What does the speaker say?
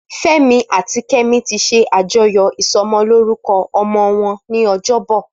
Femi àtí Kemi ti ṣé ájọyọ̀ isọmọlórúkọ̀ ọmọ wọn ni ọjọbọ